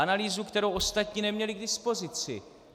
Analýzu, kterou ostatní neměli k dispozici.